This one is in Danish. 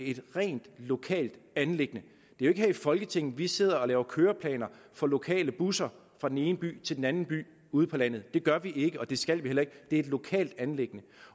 et rent lokalt anliggende det er ikke her i folketinget vi sidder og laver køreplaner for lokale busser fra den ene by til den anden by ude på landet det gør vi ikke og det skal vi heller ikke det er et lokalt anliggende